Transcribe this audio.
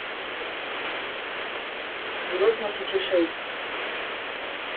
две тысячи шесть